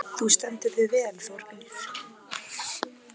Þú stendur þig vel, Þórgnýr!